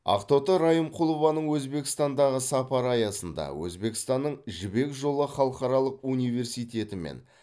ақтоты райымқұлованың өзбекстандағы сапары аясында өзбекстанның жібек жолы халықаралық университеті мен